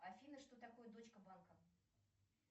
афина что такое дочка банка